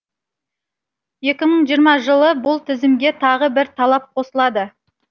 екі мың жиырма жылы бұл тізімге тағы бір талап қосылады